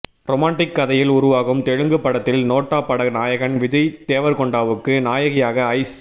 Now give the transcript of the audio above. romantic கதையில் உருவாகும் தெலுங்கு படத்தில் நோட்டா பட நாயகன் விஜய் தேவர்கொண்டாவுக்கு நாயகியாக ஐஸ்